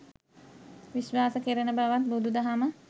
විශ්වාස කෙරෙන බවත් බුදු දහම